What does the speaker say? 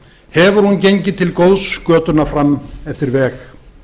hefur hún gengið til góðs götuna fram eftir veg